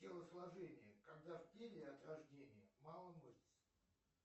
телосложение когда в теле от рождения мало мышц